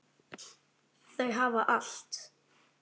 Þau hafa allt.